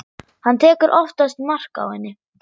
Hann tekur oftast mark á henni.